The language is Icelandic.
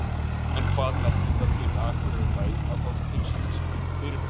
En hvað merkir það fyrir Akureyrarbæ að fá til sín slíkt fyrirtæki?